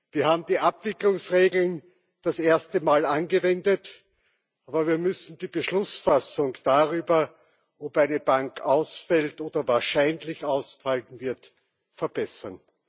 Wir haben die Abwicklungsregeln das erste Mal angewendet, aber wir müssen die Beschlussfassung darüber, ob eine Bank ausfällt oder wahrscheinlich ausfallen wird, verbessern.